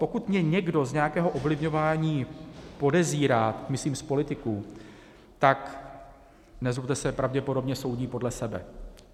Pokud mě někdo z nějakého ovlivňování podezírá, myslím z politiků, tak nezlobte se, pravděpodobně soudí podle sebe.